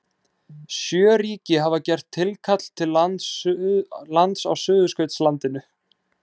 Sjö ríki hafa gert tilkall til lands á Suðurskautslandinu.